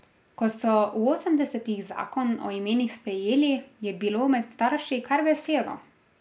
Ko so v osemdesetih zakon o imenih sprejeli, je bilo med starši kar veselo.